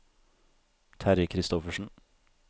Terje Kristoffersen